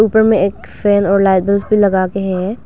उपर मैं एक फैन और भी लगाके हैं।